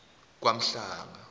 kwamhlanga